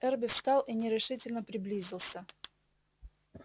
эрби встал и нерешительно приблизился